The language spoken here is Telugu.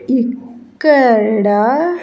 ఇక్కడ.